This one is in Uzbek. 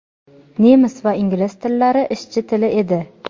Nemis va ingliz tillari ishchi tili edi.